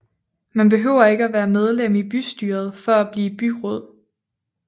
Man behøver ikke være medlem i bystyret for at blive byråd